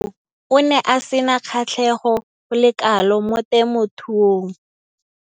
Mo nakong eo o ne a sena kgatlhego go le kalo mo temothuong.